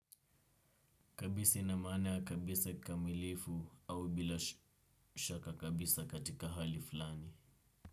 Kabisa ina maana ya kabisa kamilifu au bila shaka kabisa katika hali fulani.